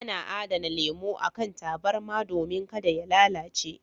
Ana adana lemo a kan tabarma domin ka da ya lalace.